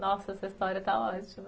Nossa, essa história está ótima.